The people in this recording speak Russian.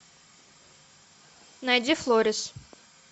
найди флорис